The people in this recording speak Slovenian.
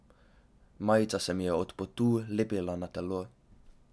Majica se mi je od potu lepila na telo.